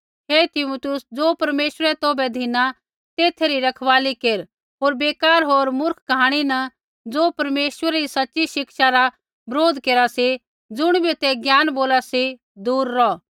हे Timotheus ज़ो परमेश्वरै तौभै धिनु तेथा री रखवाली केर होर बेकार होर मूर्ख कहाणी न ज़ो परमेश्वरा री सच़ी शिक्षा रा बरोध केरा सा ज़ुणिबै ते ज्ञान बोला सी दूर रौह